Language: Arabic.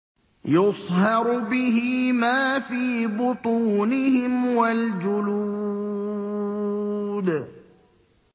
يُصْهَرُ بِهِ مَا فِي بُطُونِهِمْ وَالْجُلُودُ